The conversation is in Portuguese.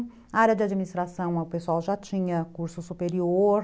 A área de administração o pessoal já tinha curso superior.